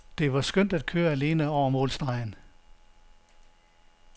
Det var skønt at køre alene over målstregen.